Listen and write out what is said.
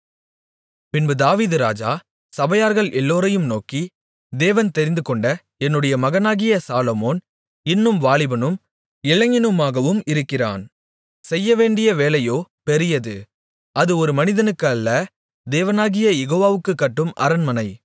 பின்பு தாவீது ராஜா சபையார்கள் எல்லோரையும் நோக்கி தேவன் தெரிந்துகொண்ட என்னுடைய மகனாகிய சாலொமோன் இன்னும் வாலிபனும் இளைஞனுமாகவும் இருக்கிறான் செய்யவேண்டிய வேலையோ பெரியது அது ஒரு மனிதனுக்கு அல்ல தேவனாகிய யெகோவாவுக்குக் கட்டும் அரண்மனை